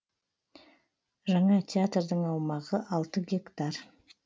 жаңа театрдың аумағы алты гектар